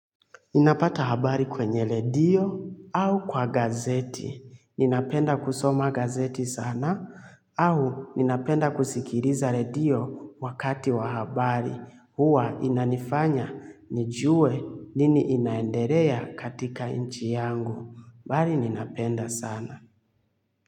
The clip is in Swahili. Ninapata habari kwenye redio au kwa gazeti. Ninapenda kusoma gazeti sana au ninapenda kusikiliza redio wakati wa habari. Huwa inanifanya nijue nini inaenderea katika nchi yangu. Bali ninapenda sana.